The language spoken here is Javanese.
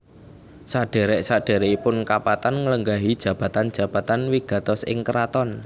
Sadhèrèk sadhèrèkipun kapatan nglenggahi jabatan jabatan wigatos ing kraton